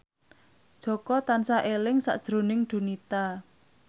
Jaka tansah eling sakjroning Donita